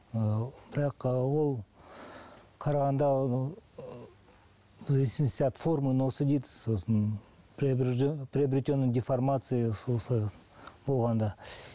ы бірақ ол қарағанда ы в зависмости от формы носа дейді сосын приобретенная деформация болғанда